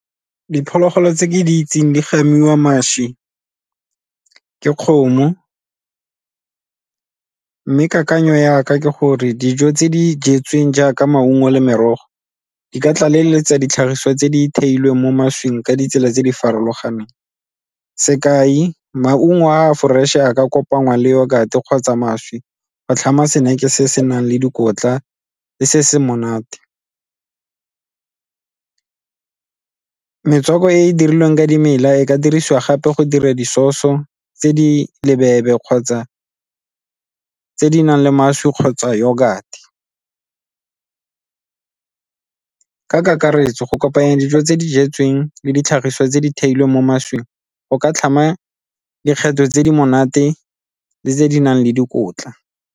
Diphologolo tse ke di itseng di gamiwa mašwi ke kgomo, mme kakanyo ya ka ke gore dijo tse di jetsweng jaaka maungo le merogo di ka tlaleletsa ditlhagiswa tse di theilweng mo mašwing ka ditsela tse di farologaneng. Sekai, maungo a a fresh-e ya ka kopanngwa le yogurt kgotsa mašwi go tlhama snack-e se se nang le dikotla le se se monate. Metswako e e dirilweng ka dimela e ka dirisiwa gape go dira di-sause-o tse di kgotsa tse di nang le mašwi kgotsa yogurt. Ka kakaretso go kopanya dijo tse di jetsweng le ditlhagiso tse di theilweng mo mašwing go ka tlhama dikgetho tse di monate le tse di nang le dikotla.